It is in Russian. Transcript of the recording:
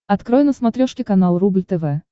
открой на смотрешке канал рубль тв